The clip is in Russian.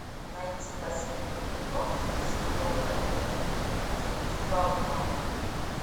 найти последний эпизод сезона три искусство обмана